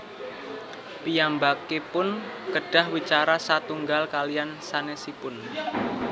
Piyambakipun kedah wicara satunggal kaliyan sanésipun